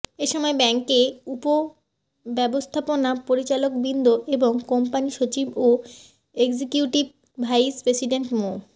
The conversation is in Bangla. এ সময় ব্যাংকের উপব্যবস্থাপনা পরিচালকবৃন্দ এবং কোম্পানি সচিব ও এক্সিকিউটিভ ভাইস প্রেসিডেন্ট মো